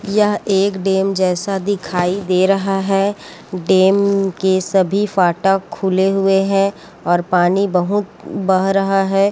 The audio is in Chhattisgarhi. यहाँ एक डैम जैसा दिखाई दे रहा है डैम के सभी फाटक खुले होये है और पानी बहुत बह रहा है।